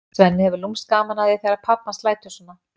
Svenni hefur lúmskt gaman af því þegar pabbi hans lætur svona.